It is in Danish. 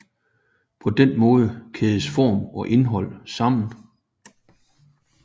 På den måde kædes form og indhold sammen